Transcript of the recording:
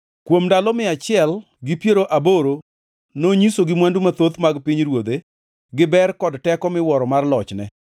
Kuom ndalo mia achiel gi piero aboro nonyisogi mwandu mathoth mag pinyruodhe gi ber kod teko miwuoro mar lochne.